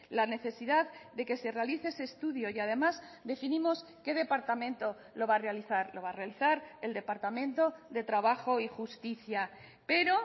la necesidad de que se realice ese estudio y además definimos qué departamento lo va a realizar lo va a realizar el departamento de trabajo y justicia pero